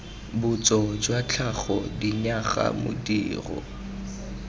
botso jwa tlhago dinyaga modiro